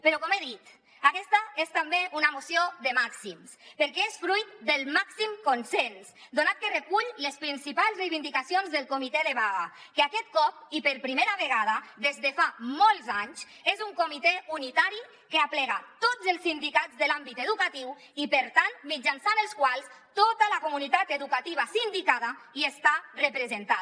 però com he dit aquesta és també una moció de màxims perquè és fruit del màxim consens donat que recull les principals reivindicacions del comitè de vaga que aquest cop i per primera vegada des de fa molts anys és un comitè unitari que aplega tots els sindicats de l’àmbit educatiu i per tant mitjançant els quals tota la comunitat educativa sindicada hi està representada